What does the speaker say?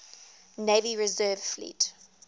navy reserve fleet